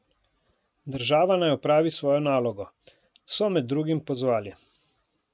Država naj opravi svojo nalogo, so med drugim pozvali.